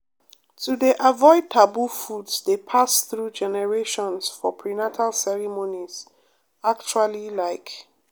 to dey avoid taboo foods dey pass through generations for prenatal ceremonies actually like